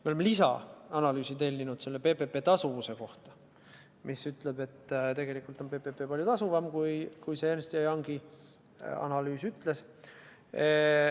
Me oleme tellinud lisaanalüüsi PPP tasuvuse kohta, mis ütleb, et tegelikult on PPP palju tasuvam kui Ernst & Youngi analüüs ütles.